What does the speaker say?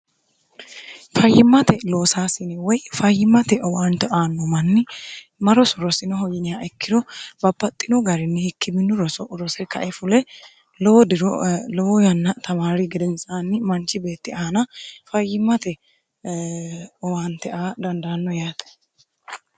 fayyimmate loosaasine woy fayyimmate owaante aanno manni ma roso rosinoho yiniha ikkiro babbaxxino garinni hikki minu roso rose kae fule lowo diro lowo yanna tamaari gedensaanni manchi beetti aana fayyimmate owaante a dandaanno yaate